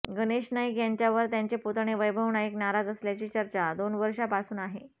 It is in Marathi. गणेश नाईक यांच्यावर त्यांचे पुतणे वैभव नाईक नाराज असल्याची चर्चा दोन वर्षापासून आहे